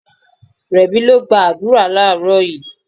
Rẹ̀mí lọ gba àdúrà láàrọ́ yìí.